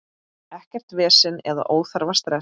Ekkert vesen eða óþarfa stress.